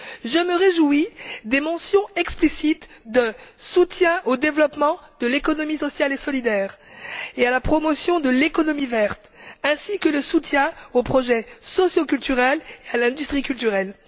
Je me réjouis des mentions explicites de soutien au développement de l'économie sociale et solidaire et à la promotion de l'économie verte, ainsi que de soutien aux projets socioculturels et à l'industrie culturelle.